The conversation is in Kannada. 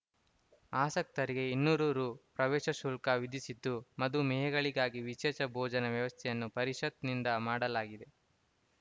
ಆಸಕ್ತರಿಗೆ ಇನ್ನೂರು ರು ಪ್ರವೇಶ ಶುಲ್ಕ ವಿಧಿಸಿದ್ದು ಮಧು ಮೇಹಿಗಳಿಗಾಗಿ ವಿಶೇಷ ಭೋಜನ ವ್ಯವಸ್ಥೆಯನ್ನು ಪರಿಷತ್‌ನಿಂದ ಮಾಡಲಾಗಿದೆ